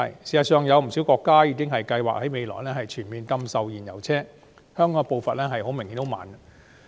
事實上，不少國家正計劃全面禁售燃油車，香港的步伐顯然十分緩慢。